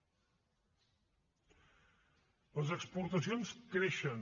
les exportacions creixen